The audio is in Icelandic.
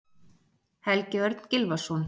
Helgi Örn Gylfason